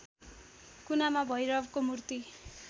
कुनामा भैरवको मूर्ति